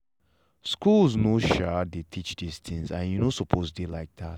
schools nor um de teach this things and e nor suppose de like that.